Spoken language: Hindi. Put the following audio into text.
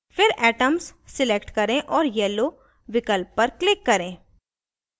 फिर atoms select करें और yellow विकल्प पर click करें